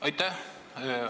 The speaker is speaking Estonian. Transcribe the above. Aitäh!